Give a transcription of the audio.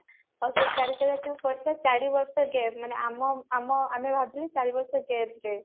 ଆଉ ସେ ଚାରି ଜାଗାରେ ଯୋଉ ପଡିଥିଲା ଚାରି ବର୍ଷ gap ମାନେ ଆମ ଆମ ଆମେ ଭାବିଥିଲେ ଚାରି ବର୍ଷ gap ରେ